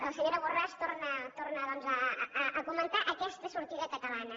la senyora borràs torna doncs a comentar aquesta sortida catalana